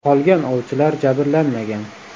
Qolgan ovchilar jabrlanmagan.